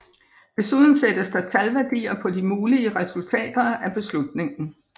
Desuden sættes der talværdier på de mulige resultater af beslutningen